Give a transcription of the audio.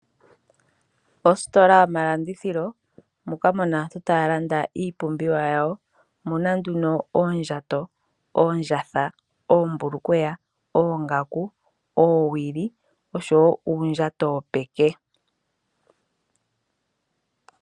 Ositola yomalandithilo moka mu na aantu taya landa iipumbiwa yawo, omu na nduno oondjatha, oombulukweya, oongaku, oowili oshowo uundjato wopeke.